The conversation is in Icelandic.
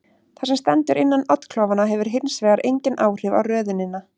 Það sem stendur innan oddklofanna hefur hins vegar engin áhrif á röðunina.